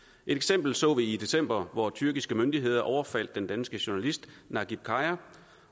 et eksempel så vi i december hvor tyrkiske myndigheder overfaldt den danske journalist najib khaja